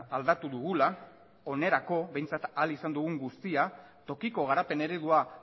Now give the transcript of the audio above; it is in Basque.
aldatu dugula onerako behintzat ahal izan dugun guztia tokiko garapen eredua